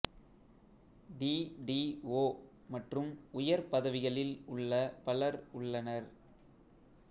D D O மற்றும் உயர் பதவிகளில் உள்ள பலர் உள்ளனர்